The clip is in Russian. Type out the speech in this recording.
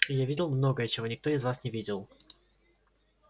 и я видел многое чего никто из вас не видел